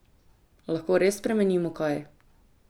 Lahko res spremenimo kaj?